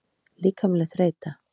Líkamleg þreyta.